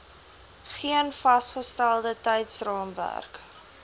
geen vasgestelde tydsraamwerk